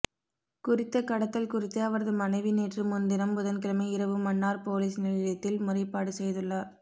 குறித்த கடத்தல் குறித்து அவரது மனைவி நேற்று முன்தினம் புதன்கிழமை இரவு மன்னார் பொலிஸ் நிலையத்தில் முறைப்பாடு செய்துள்ளார்